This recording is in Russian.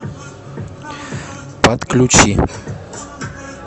подключи